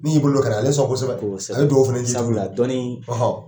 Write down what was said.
N'i y'i bolo ka na ale sɔn kosɛbɛ, kosɛbɛ, a bɛ duwɔwu fana jiidi yɔrɔ la, sabula dɔnni,